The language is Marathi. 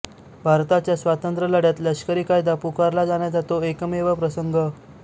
भारताच्या स्वातंत्र्यलढ्यात लष्करी कायदा पुकारला जाण्याचा तो एकमेव प्रसंग